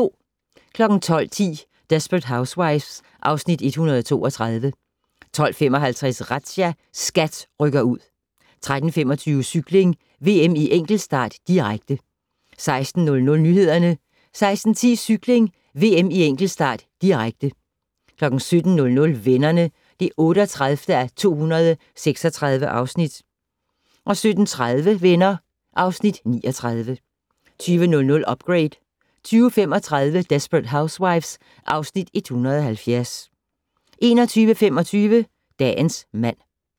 12:10: Desperate Housewives (Afs. 132) 12:55: Razzia - SKAT rykker ud 13:25: Cykling: VM i enkeltstart, direkte 16:00: Nyhederne 16:10: Cykling: VM i enkeltstart, direkte 17:00: Venner (38:236) 17:30: Venner (Afs. 39) 20:00: Upgrade 20:35: Desperate Housewives (Afs. 170) 21:25: Dagens mand